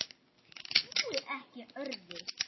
Ég trúi ekki öðru.